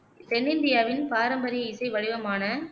தென்னிந்தியாவின் பாரம்பரிய இசை வடிவமான